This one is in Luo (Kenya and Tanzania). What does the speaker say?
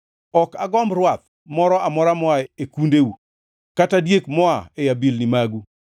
Ok agomb rwath moro amora moa e kundeu kata diek moa e abilni magu,